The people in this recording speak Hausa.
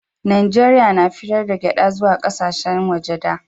najeriya na fitar da gyada zuwa ƙasashen waje da